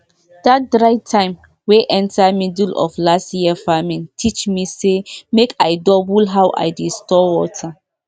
that dry time wey enter middle of last year farming teach me say make i double how i dey store water